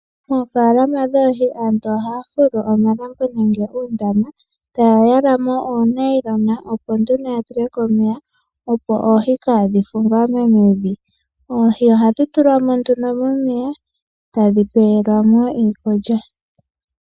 Oofalama dhoohi, aantu ohaya fulu omalambo nenge uundama ta ya yala mo oonylon, opo nduno ya tule ko omeya, opo oohi kaa dhi fuvamo mevi. Oohi ohadhi tulwa mo nduno mo meya, tadhi pe welwa mo iikulya.